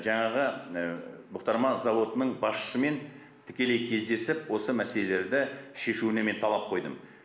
жаңағы бұқтырма зауытының басшысымен тікелей кездесіп осы мәселелерді шешуіне мен талап қойдым